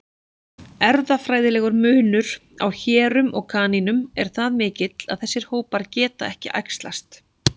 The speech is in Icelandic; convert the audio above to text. Erfðafræðilegur munur á hérum og kanínum er það mikill að þessir hópar geta ekki æxlast.